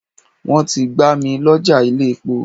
Wọ́n ti gbá mil'ọ́ja ilé-epo